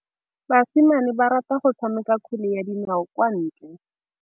Basimane ba rata go tshameka kgwele ya dinaô kwa ntle.